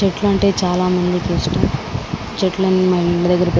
చెట్లు అంటే చాలా మందికి ఇస్టం చెట్లన్నీ మన ఇళ్ల దెగ్గర --